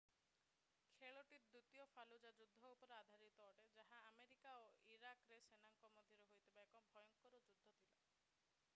ଖେଳଟି ଦ୍ଵିତୀୟ ଫାଲୁଜା ଯୁଦ୍ଧ ଉପରେ ଆଧାରିତ ଅଟେ ଯାହା ଆମେରିକା ଓ ଇରାକର ସେନାଙ୍କ ମଧ୍ୟରେ ହୋଇଥିବା ଏକ ଭୟଙ୍କର ଯୁଦ୍ଧ ଥିଲା